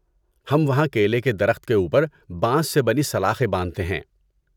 ہم وہاں کیلے کے درخت کے اوپر بانس سے بنی سلاخیں باندھتے ہیں۔